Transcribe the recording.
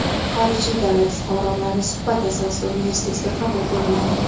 Xorijiy davlat fuqarolari suhbat asosida universitetga qabul qilinadi.